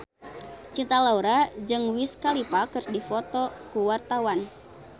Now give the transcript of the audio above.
Cinta Laura jeung Wiz Khalifa keur dipoto ku wartawan